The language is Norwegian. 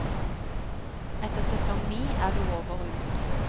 Etter sesong ni er det over og ut.